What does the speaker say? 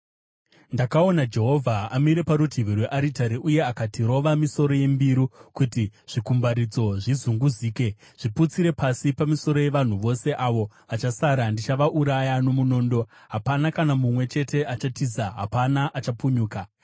Ndakaona Jehovha amire parutivi rwearitari, uye akati, “Rova misoro yembiru kuti zvikumbaridzo zvizunguzike. Zviputsire pasi pamisoro yevanhu vose; avo vachasara ndichavauraya nomunondo. Hapana kana mumwe chete achatiza, hapana achapunyuka.